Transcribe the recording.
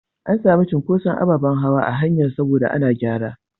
An sami cunkuson ababen hawa a hanyar saboda ana gyara.